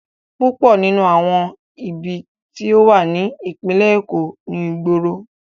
Púpọ̀ nínú àwọn ibi tí ó wà ní ìpínlẹ̀ Èkó ni ìgboro.